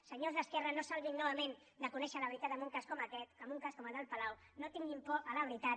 senyors d’esquerra no salvin novament de conèixer la veritat en un cas com aquest en un cas com el del palau no tinguin por a la veritat